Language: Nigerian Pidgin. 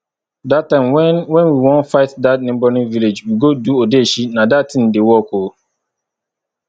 dat time when when we wan fight dat neigbouring village we go do odeshi nah dat thing dey work oo